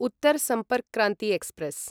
Uttar Sampark Kranti express